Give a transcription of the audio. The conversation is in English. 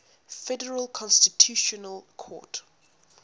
federal constitutional court